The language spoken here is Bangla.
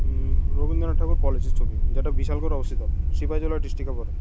উম রবীন্দ্রনাথ ঠাকুর কলেজের ছবি যেটা বিশাল করে অবস্থিত সিপাহী জেলার ডিস্ট্রিকে পরে।